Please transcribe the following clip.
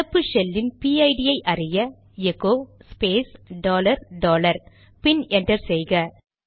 நடப்பு ஷெல் இன் பிஐடிPID ஐ அறிய எகோ ஸ்பேஸ் டாலர் டாலர் பின் என்டர் செய்க